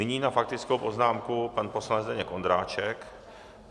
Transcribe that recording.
Nyní na faktickou poznámku pan poslanec Zdeněk Ondráček.